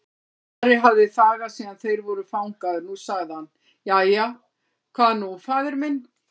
Ari hafði þagað síðan þeir voru fangaðir, nú sagði hann:-Jæja, hvað nú faðir minn?